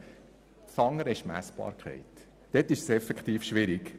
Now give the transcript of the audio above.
Das andere Problem ist die Messbarkeit, diese ist je nach dem schwierig.